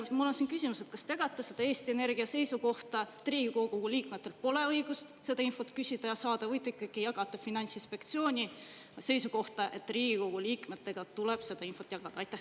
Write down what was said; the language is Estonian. Mul on küsimus: kas te jagate seda Eesti Energia seisukohta, et Riigikogu liikmetel pole õigust seda infot küsida ja saada, või te jagate Finantsinspektsiooni seisukohta, et Riigikogu liikmetega tuleb seda infot jagada?